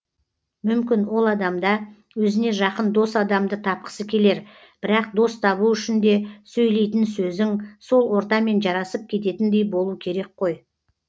мүмкін ол адамда өзіне жақын дос адамды тапқысы келер бірақ дос табу үшін де сөйлейтін сөзің сол ортамен жарасып кететіндей болу керек қой